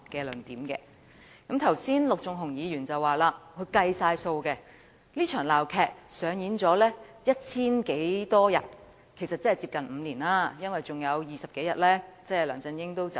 陸頌雄議員剛才說他計算過，這場鬧劇上演了千多天，即接近5年時間，因為還有20多天梁振英便會離任。